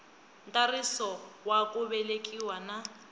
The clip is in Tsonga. ntsariso wa ku velekiwa na